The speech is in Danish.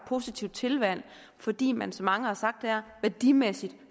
positivt tilvalg fordi man som mange har sagt her værdimæssigt